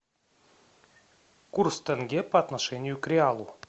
курс тенге по отношению к реалу